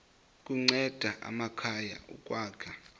kunceda amakhaya ukwakha